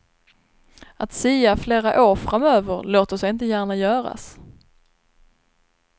Att sia flera år framöver låter sig inte gärna göras.